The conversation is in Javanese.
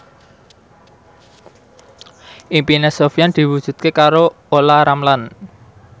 impine Sofyan diwujudke karo Olla Ramlan